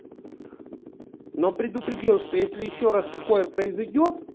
но предупредил что если ещё раз такое произойдёт